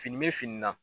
Fini bɛ fini na